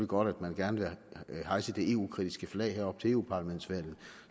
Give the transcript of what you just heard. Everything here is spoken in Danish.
godt at man gerne vil hejse det eu kritiske flag her op til eu parlamentsvalget